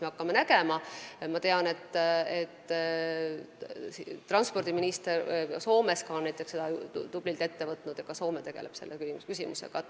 Ma tean, et näiteks Soome transpordiminister on selle tublilt ette võtnud, ka Soome tegeleb selle küsimusega.